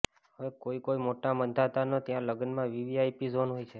હવે કોઇ કોઇ મોટા માંધાતાને ત્યાં લગ્નમાં વીવીઆઇપી ઝોન હોય છે